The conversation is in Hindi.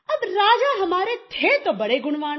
अब राजा हमारे थे तो बड़े गुणवान